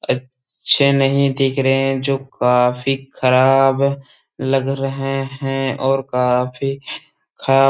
अच्छे नहीं दिख रहे हैं जो काफी ख़राब लग रहे हैं और काफी खरा --